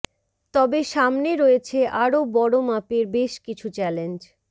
তবে সামনে রয়েছে আরও বড় মাপের বেশ কিছু চ্যালেঞ্জ